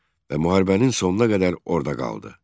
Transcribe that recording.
Və müharibənin sonuna qədər orda qaldı.